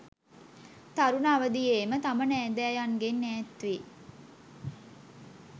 තරුණ අවදියේම තම නෑදෑයන්ගෙන් ඈත්වී